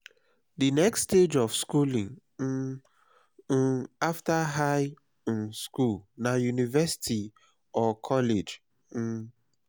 the next stage of schooling um um after high um school na university or college um